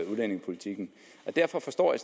udlændingepolitikken derfor forstår jeg